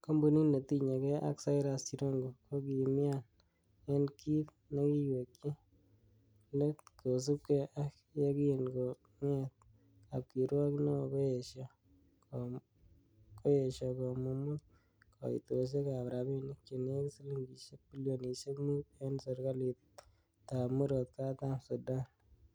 Kompunit netinye gee ak Cyrus Jirongo, kokimian en kit nekiwekyi let kosiibge ak yekin konget kapkirwok neo koyesho komumut koitosiek ab rabinik chenekit silingisiek bilionisiek mut, en serkalitab murot katam Sudan.